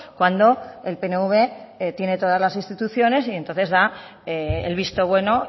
cuando el pnv tiene todas las instituciones y entonces da el visto bueno